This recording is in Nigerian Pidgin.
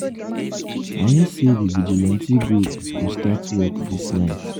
i hear say the vigilante group go start work dis night